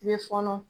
I bɛ fɔɔnɔ